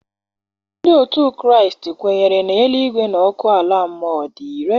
Ndị otu Kraịst kwenyere na eluigwe na ọkụ ala mmụọ dị irè.